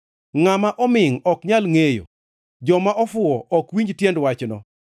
Ngʼama omingʼ ok nyal ngʼeyo, joma ofuwo ok winj tiend wachno,